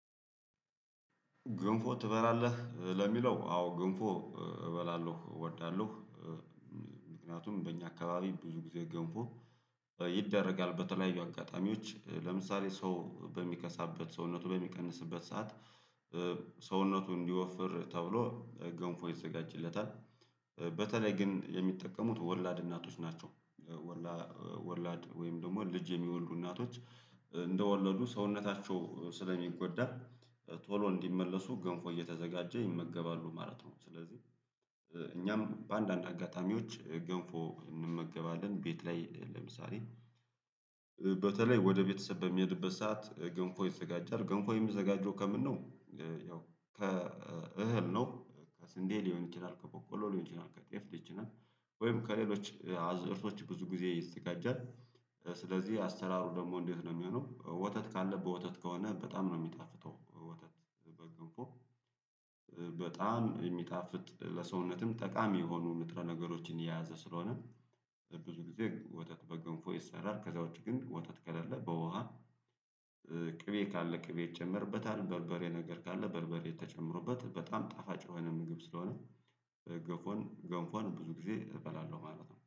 ገንፎ ትበላለህ ለሚለው አዎ ግንፎ እበላለሁ እወዳለሁ። በእኛ አካባቢ ብዙ ጊዜ ገንፎ በ ይደረጋል በተለያዩ አጋጣሚዎች ለምሳሌ ሰው በሚከሳበት ሰውነቱ በሚቀንስበት ሰዓት ሰውነቱ እንዲወፍር ተብሎ ገንፎ ይዘጋጅለታል። በተለይ ግን የሚጠቀሙት ወላድ እናቶች ናቸው። ወላድ ወይም ደግሞ ልጅ የሚወልዱ እናቶች እንደወለዱ ሰውነታቸው ስለሚጎዳ ቶሎ እንዲመለሱ ገንፎ እየተዘጋጀ ይመገባሉ ማለት ነው። ስለዚህ እኛም በአንዳንድ አጋጣሚዎች ገንፎ እንመገባለን ቤት ላይ ለምሳሌ በተለይ ወደ ቤተሰብ በሚሄድበት ሰዓት ገንፎ ይዘጋጃል። ገንፎ የሚዘጋጅው ከምን ነው? ከእህል ነው ከስንዴ ሊሆን ይችላል ከቦቆሎ ሊሆን ይችላል ከጤፍ ይችላል ወይም ከሌሎች አዝርቶች ብዙ ጊዜ ይስጋጃል። ስለዚህ አሰራሩ ደግሞ እንዴት ነው የሚሆነው? ወተት ካለ በወተት ከሆነ በጣም ነው የሚጣፍጠው። በጣም የሚጣፍጥ ለሰውነትም ጠቃሚ የሆኑ ንጥረ ነገሮችን የያዘ ስለሆነ ብዙ ጊዜ ወተት በገንፎ ይሰራል ከዛ ውጪ ግን ወተት ከሌለ በውሃ። ቅቤ ካለ ቅቤ ይጨመርበታል በርበሬ ነገር ካለ በርበሬ ተጨምሮበት በጣም ጣፋጭ የሆነ ምግብ ስለሆነ። ገንፎን ገንፎን ብዙ ጊዜ እበላለሁ ማለት ነው